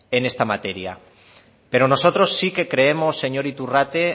en esta materia pero nosotros sí que creemos señor iturrate